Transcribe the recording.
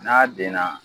N'a den na